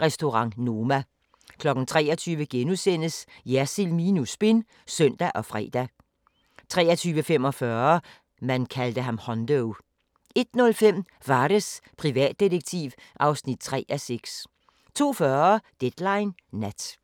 Restaurant Noma 23:00: Jersild minus spin *(søn og fre) 23:45: ... man kaldte ham Hondo 01:05: Vares, privatdetektiv (3:6) 02:40: Deadline Nat